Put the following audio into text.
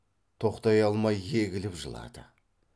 тоқтай алмай егіліп жылады